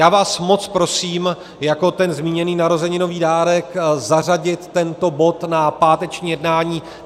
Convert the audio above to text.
Já vás moc prosím jako ten zmíněný narozeninový dárek zařadit tento bod na páteční jednání.